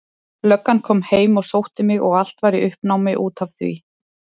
Löggan kom heim og sótti mig og allt var í uppnámi út af því.